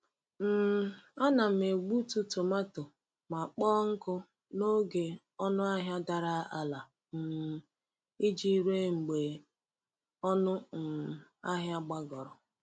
um Ana m egbutu tomato ma kpọọ nkụ n’oge ọnụ ahịa dara ala um iji ree mgbe ọnụ um ahịa gbagoro.